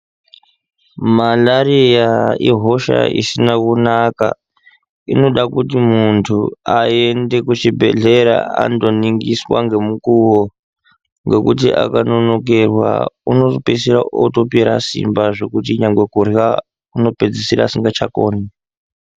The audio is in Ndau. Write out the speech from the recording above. Malariya ihosha isina kunaka inoda kuti muntu ayende ku chibhedhlera ando ningiswa nge mukuwo ngekuti aka nonokerwa uno pedzisira otopera simba zvekuti nyangwe kurya uno pedzisira asingacha koni.